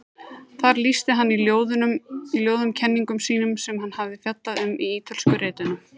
Þar lýsti hann í ljóðum kenningum sínum sem hann hafði fjallað um í Ítölsku ritunum.